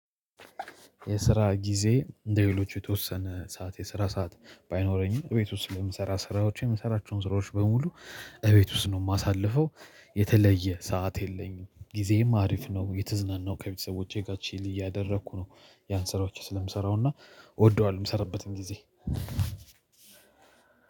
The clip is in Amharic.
የስራ ጊዜ እንደሌሎች የተወሰነ ሰዓት የስራ ሰዓት ባይኖረኝም እቤት ውስጥ ስለምሰራ ስራዎቼን የምሰራቸውን ስራዎች በሙሉ እቤት ውስጥ ነው የማሳልፈው። የተለየ ሰዓት የለኝም ጊዜዬም አሪፍ ነው። እየተዝናናው ከቤተሰቦቼ ጋር ቺሊ እያደረኩ ነው። ያን ስራዎችን ስለምሰራው እና። እወደዋለሁ የምሰራበትን ጊዜ